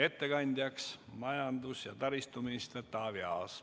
Ettekandja on majandus- ja taristuminister Taavi Aas.